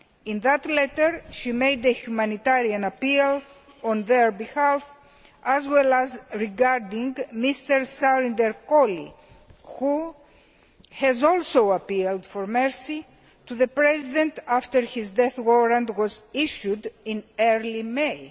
In that letter, she made a humanitarian appeal on their behalf, as well as regarding Mr Surinder Kohli, who has also appealed for mercy to the President after his death warrant was issued in early May.